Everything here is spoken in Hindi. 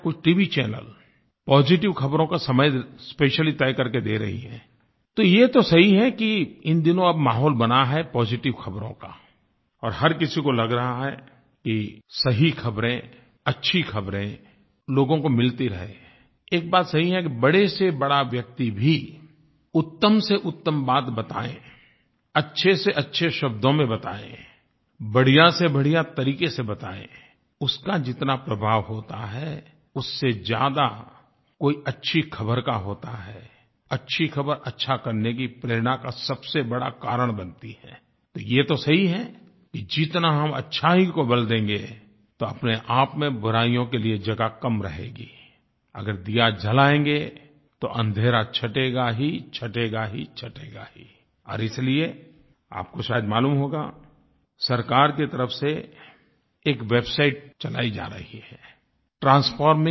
चैनल पॉजिटिव ख़बरों का समय स्पेशली तय करके दे रहे हैंI तो ये तो सही है कि इन दिनों अब माहौल बना है पॉजिटिव ख़बरों काI और हर किसी को लग रहा है कि सही ख़बरें अच्छी ख़बरें लोगों को मिलती रहेंI एक बात सही है कि बड़ेसेबड़ा व्यक्ति भी उत्तमसेउत्तम बात बताए अच्छेसेअच्छे शब्दों में बताए बढ़ियासेबढ़िया तरीके से बताए उसका जितना प्रभाव होता है उससे ज्यादा कोई अच्छी ख़बर का होता हैI अच्छी ख़बर अच्छा करने की प्रेरणा का सबसे बड़ा कारण बनती हैI तो ये तो सही है कि जितना हम अच्छाई को बल देंगे तो अपने आप में बुराइयों के लिए जगह कम रहेगीI अगर दिया जलायेंगे तो अंधेरा छंटेगा ही छंटेगा ही छंटेगा हीI और इसलिए आप को शायद मालूम होगा सरकार की तरफ़ से एक वेबसाइट चलाई जा रही है ट्रांसफार्मिंग इंडिया